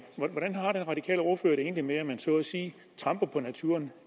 hvordan har den radikale ordfører det egentlig med at man så at sige tramper på naturen